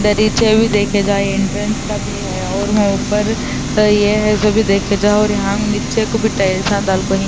دریچے بھی دیکھ جائے انٹرکے کا بھی ہے اور وہا اپر یہ ہے بھی دیکھ جو یہاں نیچے کو بھی ٹائلسا ڈال کو ہی --